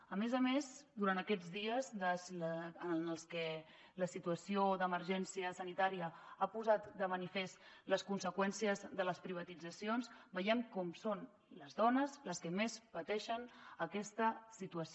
a més a més durant aquests dies en què la situació d’emergència sanitària ha posat de manifest les conseqüències de les privatitzacions veiem com són les dones les que més pateixen aquesta situació